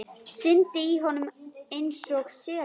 Syndi í honum einsog selur.